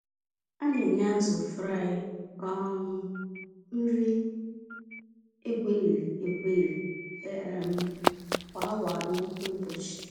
A-nenye azụ Fry um nri egweriri-egweri um kwa awa anọ n'ụbọchị.